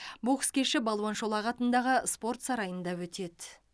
бокс кеші балуан шолақ атындағы спорт сарайында өтеді